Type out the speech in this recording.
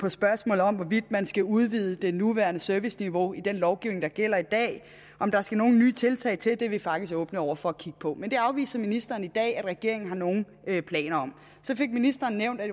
et spørgsmål om hvorvidt man skal udvide det nuværende serviceniveau i den lovgivning der gælder i dag om der skal nogle nye tiltag til er vi faktisk åbne over for at kigge på men det afviser ministeren i dag at regeringen har nogen planer om så fik ministeren nævnt at